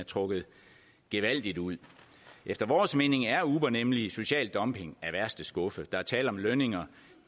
er trukket gevaldigt ud efter vores mening er uber nemlig social dumping af værste skuffe der er tale om lønninger